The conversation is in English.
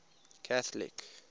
catholic